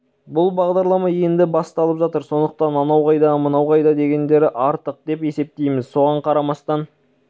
бұл бағдарлама енді басталып жатыр сондықтан анау қайда мынау қайда дегенді артық деп есептейміз соған қарамастан